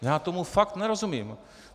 Já tomu fakt nerozumím.